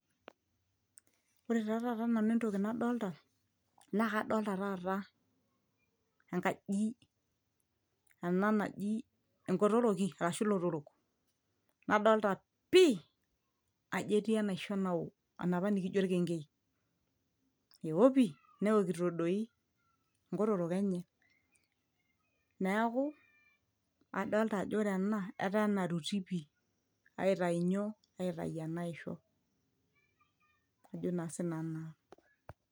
ore taa taata nanu entoki nadolta naa kadolta taata enkaji ena naji enkotoroki ashu ilotorok nadolta pii ajo etii enaisho nawo enapa nikijo orkengei ewo pii newokito doi nkotorok enye neeku adolta ajo wore ena etaa enaruti pii aita nyoo aitai ena aisho ajo naa sinanu naa.